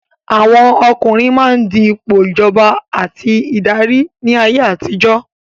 Àwọn ọkùnrin máa ń di ipò ìjọba àti ìdarí ní ayé àtijọ́.